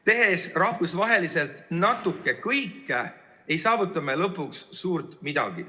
Tehes rahvusvaheliselt natuke kõike, ei saavuta me lõpuks suurt midagi.